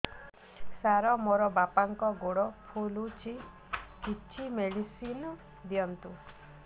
ସାର ମୋର ବାପାଙ୍କର ଗୋଡ ଫୁଲୁଛି କିଛି ମେଡିସିନ ଦିଅନ୍ତୁ